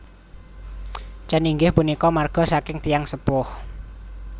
Chen inggih punika marga saking tiyang sepuh